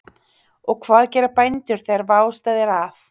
Og hvað gera bændur þegar vá steðjar að?